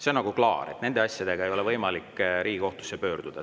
See on nagu klaar, et nende asjadega ei ole võimalik Riigikohtusse pöörduda.